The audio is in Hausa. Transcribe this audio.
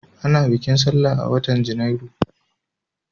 Ana bikin sallah a watan Janairu.